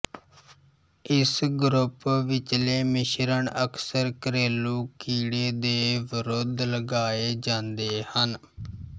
ਇਸ ਗਰੁਪ ਵਿਚਲੇ ਮਿਸ਼ਰਣ ਅਕਸਰ ਘਰੇਲੂ ਕੀੜੇ ਦੇ ਵਿਰੁੱਧ ਲਗਾਏ ਜਾਂਦੇ ਹਨ